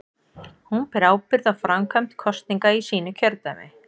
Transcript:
Hún ber ábyrgð á framkvæmd kosninga í sínu kjördæmi.